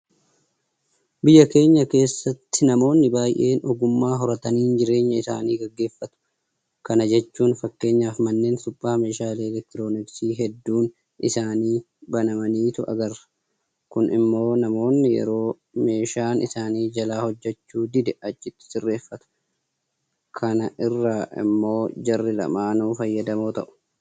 Biyya keenya keessatti namoonni baay'een ogummaa horataniin jireenya isaanii gaggeeffatu. Kana jechuun fakkeenyaaf manneen suphaa meeshaalee elektirooniksii hedduun isaanii banamaniitu agarra. Kun immoo namoonni yeroo meeshaan isaan jalaa hojjechuu dide achitti sirreessifatu. Kana irraa immoo jarri lamaanuu fayyadamoo ta'u.